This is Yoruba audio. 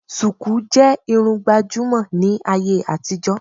Sùkú jẹ́ Irun gbàjúmọ̀ ní ayé àtijó